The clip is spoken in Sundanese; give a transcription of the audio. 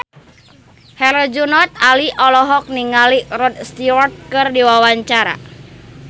Herjunot Ali olohok ningali Rod Stewart keur diwawancara